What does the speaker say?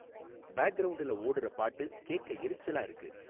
பேக்ரவுண்டுல ஓடுற பாட்டு கேக்க எரிச்சலா இருக்கு